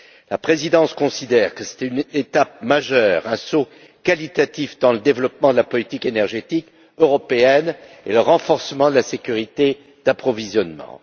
La Présidence considère que c'était une étape majeure, un saut qualitatif dans le développement de la politique énergétique européenne et dans le renforcement de la sécurité d'approvisionnement.